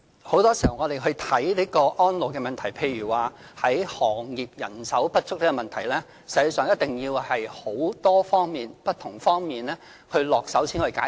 很多時候，要解決安老的問題，例如行業人手不足的問題，實際上，一定要從很多不同方面下手才能解決。